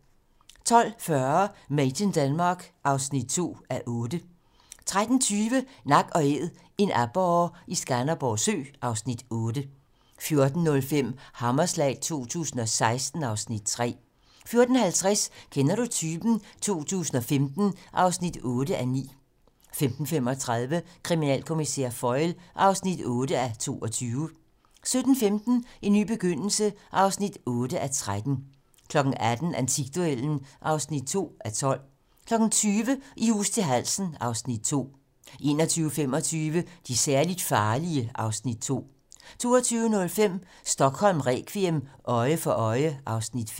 12:40: Made in Denmark (2:8) 13:20: Nak & æd - en aborre i Skanderborg Sø (Afs. 8) 14:05: Hammerslag 2016 (Afs. 3) 14:50: Kender du typen? 2015 (8:9) 15:35: Kriminalkommissær Foyle (8:22) 17:15: En ny begyndelse (8:13) 18:00: Antikduellen (2:12) 20:00: I hus til halsen (Afs. 2) 21:25: De særligt farlige (Afs. 2) 22:05: Stockholm requiem: Øje for øje (Afs. 5)